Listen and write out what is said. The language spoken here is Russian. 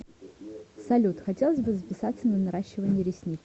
салют хотелось бы записаться на наращивание ресниц